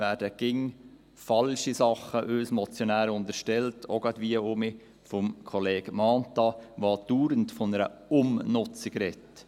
Es werden uns Motionären immer wieder falsche Dinge unterstellt, auch wie gerade wieder von Kollege Mentha, der dauernd von einer Umnutzung spricht.